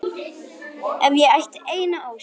Ef ég ætti eina ósk.